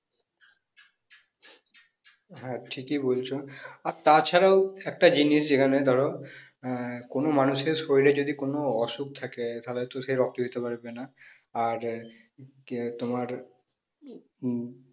হ্যাঁ ঠিকই বলছ আর তাছাড়াও একটা জিনিস যেখানে ধরো আহ কোন মানুষের শরীরে যদি কোন অসুখ থাকে তাহলে হয়তো সে রক্ত দিতে পারবে না আর কে তোমার উম